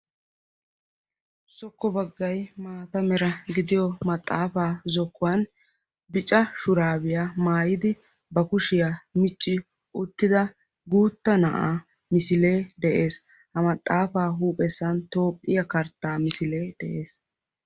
Zokko baggay maata mera gidiyo maxaafaa zokkuwan bollan bicca shurabiya maayidi ba kushiya micci uttida guutta naa'a misile de'ees. Ha maxaafaa huuphessan Toophphiya kartta misile de'ees.